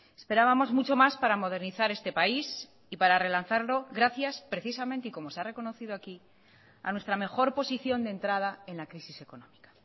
esperábamos mucho mas para modernizar este país y para relanzarlo gracias precisamente y como se ha reconocido aquí a nuestra mejor posición de entrada en la crisis económica